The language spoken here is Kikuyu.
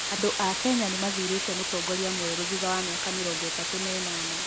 Andũ a Kenya nĩ mathurĩte mũtongoria mwerũ thutha wa mĩaka mĩrongo ĩtatũ na ĩnana